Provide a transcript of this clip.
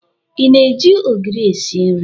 Ị na-eji ogiri esi nri?